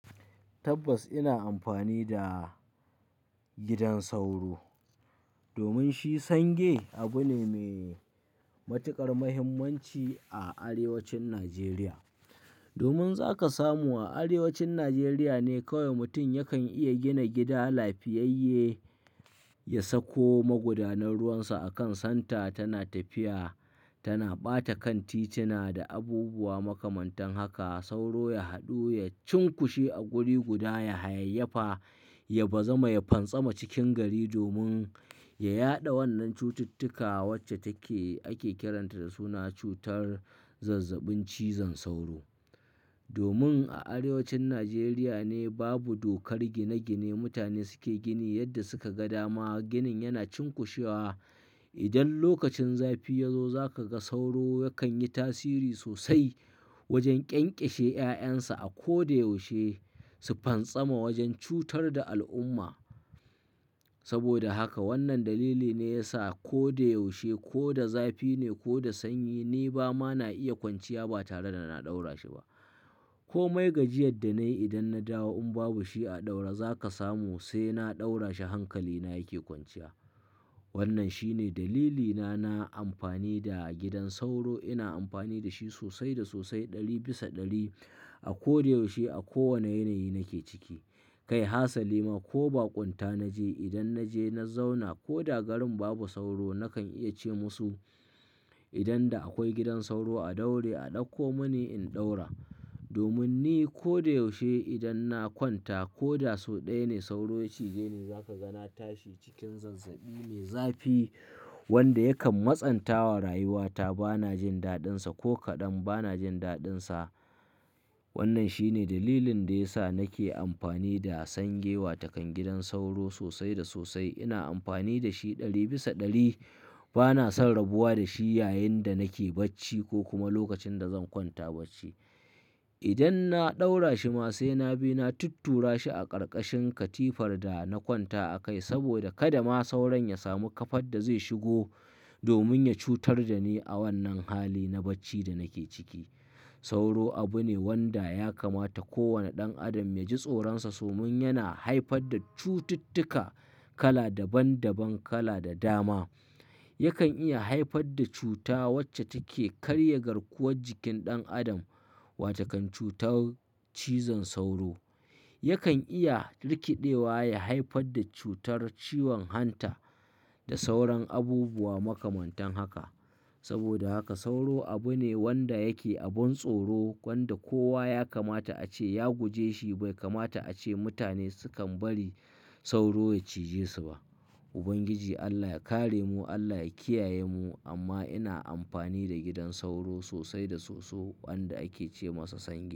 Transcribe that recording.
Tabbas ina amfani da gidan sauro domin shi sange abu ne mai matuƙar muhimmanci a arewacin Najeriya. Domin za ka samu a arewacin Najeriya ne kowai mutum yakan iya gina gida lafiyayye, ya sako magudanar ruwansa a kan santa tana tafiya, tana ɓata kan titina da abubuwa makamantan haka. Sauro ya haɗu, ya cunkushe a guri guda, ya hayayyafa, ya bazama, ya pantsama cikin gari domin ta yaɗa wannan cututtuka wacce take ake kiranta da suna cutar zazzabin cizon sauro. Domin a arewacin Najeriya ne babu dokar gine-gine, mutane suke gini yadda suka ga dama. Ginin yana cunkushewa. Idon lokacin zafi ya zo za ka ga sauro yakan yi tasiri sosai wojen ƙyanƙyashe 'ya'yan sa a ko da yaushe su fantsama wajen cutar da al'umma. Saboda haka wannan dalili ne ya sa ko da yaushe, ko da zafi ne ko da sanyi, ni ba ma na iya kwanciya ba tare da na ɗaura shi ba. Ko mai gajiyar da na yi idan na dawo in babu shi a ɗaure, za ka samu sai na ɗaura shi hankali na yake kwanciya. Wannan shine dalilina na amfani da gidan sauro. Ina amfani da shi sosai da sosai ɗari bisa ɗari a ko da yaushe a kowani yanayi nake ciki. Kai Hasali ma ko Bakonta na je idon na je na zauna ko da garin babu sauro nakan iya ce musu idan da akwai gidan sauro a daure, a ɗauko mani in ɗaura. Domin ni ko da yaushe idan na kwanta ko da sau ɗaya ne sauro ya cije ni za ka ga na tashi cikin zazzabi me, zafi wanda yakan matsantawa rayuwata. Ba na jin daɗinsa ko kaɗan, ba na jin daɗinsa. Wannan shine dalilin da ya sa nake amfani da sange wa to kam gidan sauro sosai da sosai. Ina amfani da shi ɗari bisa ɗari. Ba na san rabuwa da shi yayin da nake bacci ko kuma lokacin da zan kwanta bacci. Idan na ɗaura shi ma sai na bi, na tuttura shi a ƙarƙashin katifar da na kwanta a kai saboda kada ma sauron ya samu kafar da zai shigo domin ya cutar da ni a wannan hali na bacci da nake ciki. Sauro abu ne wanda ya kamata kowane ɗan adam ya ji tsoronsa domin yana haifar da cututtuka kala daban daban, kala da dama. Yakan iya haifar da cuta wacce take karya garkuwar jikin ɗan adam wato kam cutar cizon sauro. Yakan iya rikiɗewa ya haifar da cutar ciwon hanta da sauran abubuwa makamantan haka. Saboda haka sauro abu ne wanda yake abun tsoro wanda kowa ya kamata ace ya guje shi bai kamata ace mutane sukan bari sauro ya cije su ba. Ubangiji Allah ya kare mu, Allah ya kiyaye mu. Amma ina amfani da gidan sauro sosai da soso wanda ake ce masa sange.